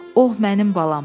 Oh, mənim balam!